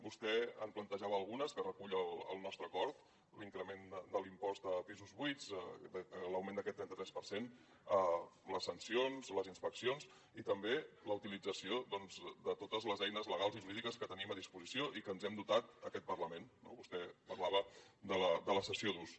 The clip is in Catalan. vostè en plantejava algunes que recull el nostre acord l’increment de l’impost a pisos buits l’augment d’aquest trenta tres per cent les sancions les inspeccions i també la utilització de totes les eines legals i jurídiques que tenim a disposició i de que ens hem dotat en aquest parlament no vostè parlava de la cessió d’ús